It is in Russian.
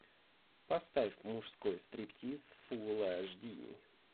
поставь мужской стриптиз фулл аш ди